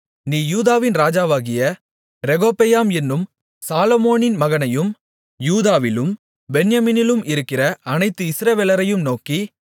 நீ யூதாவின் ராஜாவாகிய ரெகொபெயாம் என்னும் சாலொமோனின் மகனையும் யூதாவிலும் பென்யமீனிலும் இருக்கிற அனைத்து இஸ்ரவேலரையும் நோக்கி